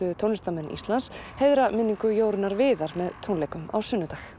tónlistarmenn Íslands heiðra minningu Jórunnar Viðar með tónleikum á sunnudag